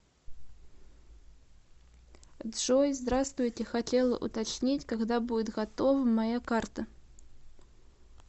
джой здравствуйте хотела уточнить когда будет готова моя карта